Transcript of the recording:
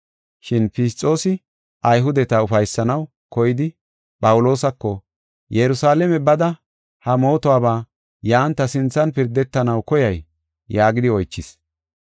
Shin Fisxoosi Ayhudeta ufaysanaw koyidi Phawuloosako, “Yerusalaame bada ha mootuwaba yan ta sinthan pirdetanaw koyay?” yaagidi oychis.